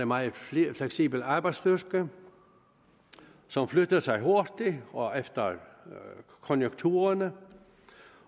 meget fleksibel arbejdsstyrke som flytter sig hurtigt og efter konjunkturerne